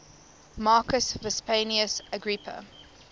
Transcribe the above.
marcus vipsanius agrippa